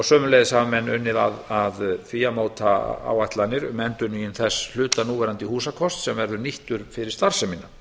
sömuleiðis hafa menn unnið að því að móta áætlanir um endurnýjun þess hluta húsakosts sem verður nýttur fyrir